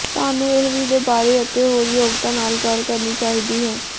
ਸਾਨੂੰ ਇਹ ਵੀ ਦੇ ਬਾਰੇ ਅਤੇ ਹੋਰ ਯੋਗਤਾ ਨਾਲ ਗੱਲ ਕਰਨੀ ਚਾਹੀਦੀ ਹੈ